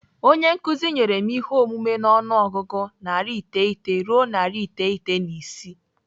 Onye nkụzi nyere m ihe omume n'ọnụọgụgụ narị iteghete ruo narị iteghete na isii.